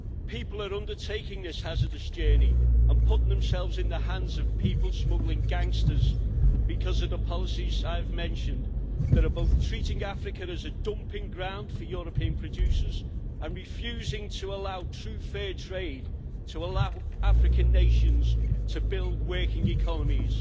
People are undertaking this hazardous journey and putting themselves in the hands of people smuggling gangsters because of the policies I have mentioned that are both treating Africa as a dumping ground for European producers and refusing to allow true fair trade, to allow African nations to build working economies.